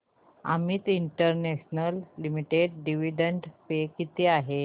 Amit international limited dividend pay किती आहे